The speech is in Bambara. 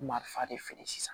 Marifa de feere sisan